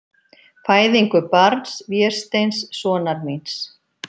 Fæðingu barns, Vésteins, sonar þíns.